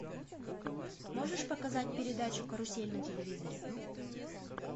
можешь показать передачу карусель на телевизоре